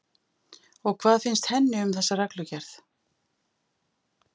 Og hvað finnst henni um þessa reglugerð?